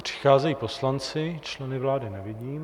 Přicházejí poslanci, členy vlády nevidím.